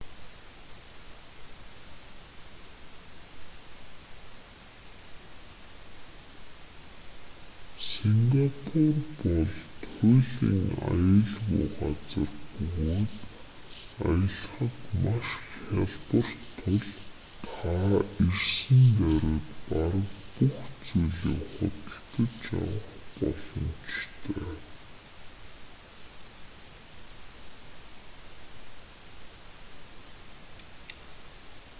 сингапур бол туйлын аюулгүй газар бөгөөд аялахад маш хялбар тул та ирсэн даруйд бараг бүх зүйлийг худалдаж авах боломжтой